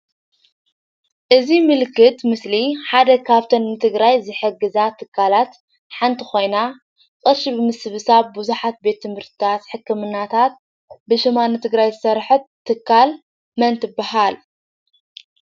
እዚ ምልክት ምስሊ ሓደ ካብቶም ንትግራይ ዝሕግዛ ትካላት ሓንቲ ኾይና ቅርሺ ብምስብሳብ ቡዙሓት ቤት ትምህርታት ሕክምናታት ብ ሽማ ን ትግራይ ዝሰርሐት ትካል መን ትበሃል?